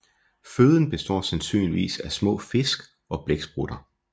Føden består sandsynligvis af små fisk og blæksprutter